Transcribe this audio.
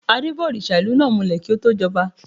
Adé bá òrìṣà ìlú náà mulẹ̀ kí ó tó jọba.